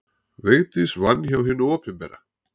Vigdís vann hjá hinu opinbera.